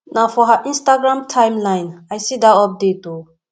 na for her instagram timeline i see dat update o